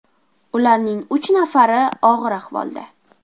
Ularning uch nafari og‘ir ahvolda.